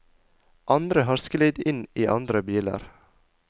Andre har sklidd inn i andre biler.